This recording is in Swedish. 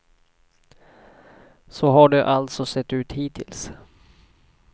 Så har det alltså sett ut hittills.